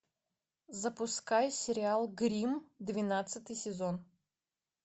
запускай сериал гримм двенадцатый сезон